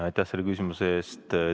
Aitäh selle küsimuse eest!